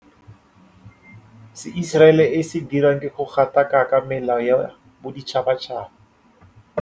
Se Iseraele e se dirang ke go gatakaka melao ya boditšhabatšhaba.